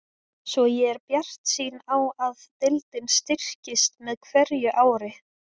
Svo ég er bjartsýn á að deildin styrkist með hverju ári.